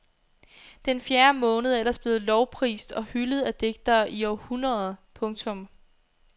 Den fjerde måned er ellers blevet lovprist og hyldet af digtere i århundreder. punktum